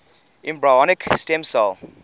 embryonic stem cell